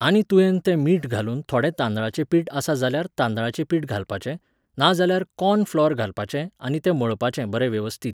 आनी तुयेन तें मीठ घालून थोडें तांदळाचें पीठ आसा जाल्यार तांदळाचें पीठ घालपाचें, नाजाल्यार कॉर्न फ्लॉर घालपाचें आनी तें मळपाचें बरें वेवस्थीत.